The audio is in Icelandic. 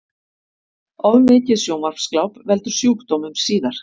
Of mikið sjónvarpsgláp veldur sjúkdómum síðar